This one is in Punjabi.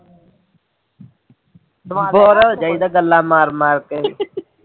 ਬੋਰ ਹੋ ਜਾਈਦਾ ਐ ਗੱਲਾ ਮਾਰ ਮਾਰ ਕੇ